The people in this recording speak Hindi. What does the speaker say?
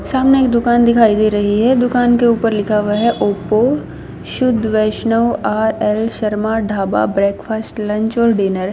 सामने एक दुकान दिखाई दे रही है दुकान के ऊपर लिखा हुआ है ओप्पो शुद्ध वैष्णव R L Sharma dhaba breakfast lunch और डिनर --